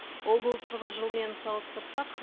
ол былтырғы жылмен салыстырсақ